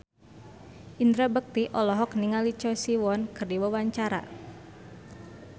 Indra Bekti olohok ningali Choi Siwon keur diwawancara